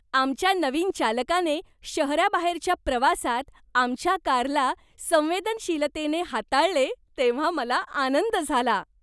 आमच्या नवीन चालकाने शहराबाहेरच्या प्रवासात आमच्या कारला संवेदनशीलतेने हाताळले तेव्हा मला आनंद झाला.